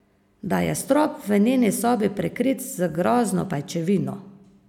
Da je strop v njeni sobi prekrit z grozno pajčevino.